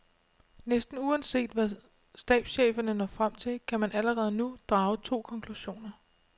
Næsten uanset hvad stabscheferne når frem til, kan man allerede nu drage to konklusioner.